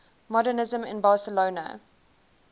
modernisme in barcelona